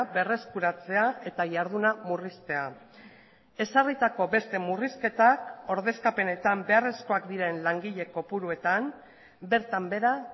berreskuratzea eta jarduna murriztea ezarritako beste murrizketak ordezkapenetan beharrezkoak diren langile kopuruetan bertan behera